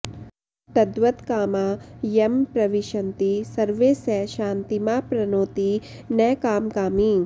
तद्वत्कामा यं प्रविशन्ति सर्वे स शान्तिमाप्नोति न कामकामी